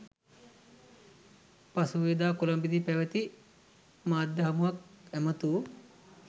පසුගියදා කොළඹදී පැවති මාධ්‍ය හමුවක් ඇමතූ